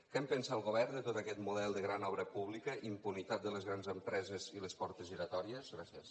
què en pensa el govern de tot aquest model de gran obra pública impunitat de les grans empreses i les portes giratòries gràcies